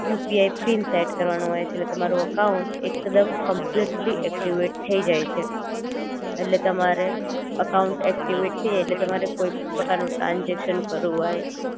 UPI PIN set કરવાનો હોય છે ઍટલે તમારું અકાઉંટ એકદમ કંપ્લીટલી એક્ટીવેટ થઈ જાઇ છે ઍટલે તમારે અકાઉંટ ઍક્ટિવેટ થઈ જાઇ એટલે તમારે કોઈ પણ પ્રકાર નું ટ્રાનજેક્શન કરવુ હોય